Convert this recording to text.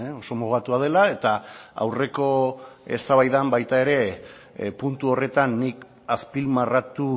oso mugatua dela eta aurreko eztabaidan baita ere puntu horretan nik azpimarratu